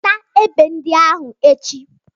Weta egbe ndị ahụ echi!